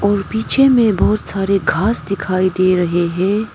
पीछे में बहुत सारे घास दिखाई दे रहे हैं।